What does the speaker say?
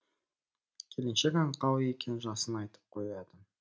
келіншек аңқау екен жасын айтып қояды